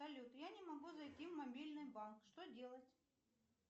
салют я не могу зайти в мобильный банк что делать